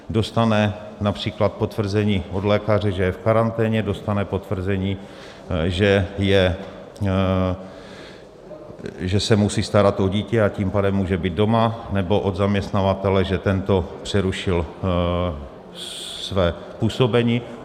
Dostane například potvrzení od lékaře, že je v karanténě, dostane potvrzení, že se musí starat o dítě, a tím pádem může být doma, nebo od zaměstnavatele, že tento přerušil své působení.